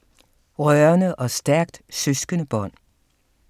Rørende og stærkt søskendebånd